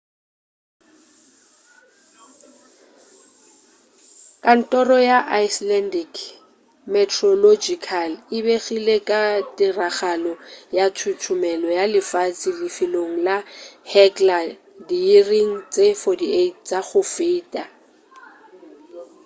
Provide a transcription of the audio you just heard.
kantoro ya icelandic meteorological e begile ka tiragalo ya thuthumelo ya lefase lefelong la hekla diiring tše 48 tša go feta